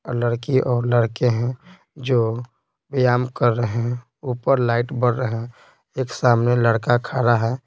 और लड़की और लड़के हैं जो व्यायाम कर रहे हैं ऊपर लाइट बढ़ रहे हैं एक सामने लड़का खड़ा है।